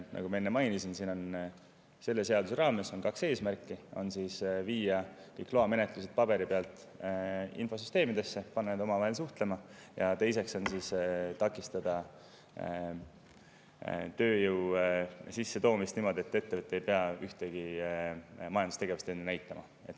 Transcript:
Nagu ma enne mainisin, selle seaduse raames on kaks eesmärki: viia kõik loamenetlused paberi pealt infosüsteemidesse, panna need omavahel suhtlema ja teiseks takistada tööjõu sissetoomist ettevõttel, kellel ei ole eelnevat majandustegevust ette näidata.